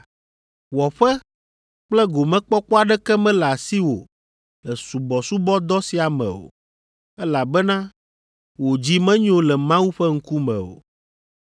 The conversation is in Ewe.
Wɔƒe kple gomekpɔkpɔ aɖeke mele asiwò le subɔsubɔdɔ sia me o, elabena wò dzi menyo le Mawu ƒe ŋkume o.